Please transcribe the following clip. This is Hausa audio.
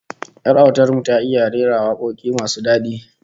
Yar autar mu ta iya rera wakoki masu dadi